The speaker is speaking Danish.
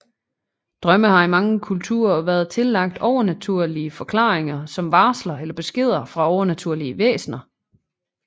Drømme har i mange kulturer været tillagt overnaturlige forklaringer som varsler eller beskeder fra overnaturlige væsner